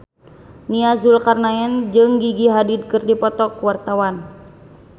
Nia Zulkarnaen jeung Gigi Hadid keur dipoto ku wartawan